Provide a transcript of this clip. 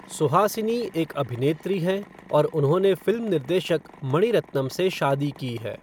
सुहासिनी एक अभिनेत्री हैं और उन्होंने फ़िल्म निर्देशक मणिरत्नम से शादी की है।